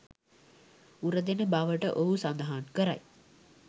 උරදෙන බවට ඔහු සඳහන් කරයි